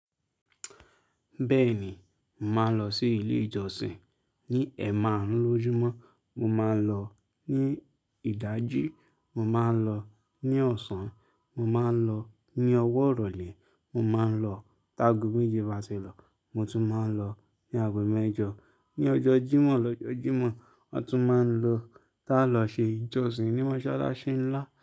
Bẹ́ẹ̀ ni, màá lọ sí ilé ìjọsìn. Ni ẹ̀maarun lójúmọ́, mo máa ń lọ. Ni ìdájí, mo máa ń lọ. Ni ọ̀sán, mo máa ń lọ. Ni ọwọ́ ìrọ̀lẹ́, mo máa ń lọ. Tá ago méje bá ti lu, mo tún máa ń lọ. Ni àgọ́ mẹ́jọ, ní ọjọ́ Jímọ̀ lọ́jọ́ Jímọ̀, wọ́n tún máa ń lọ. Tálọ̀ ṣe ìjọsìn ni Mọ́ṣálá́ṣí ńlá.